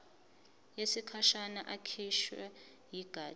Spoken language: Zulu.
yesikhashana ekhishwe yigatsha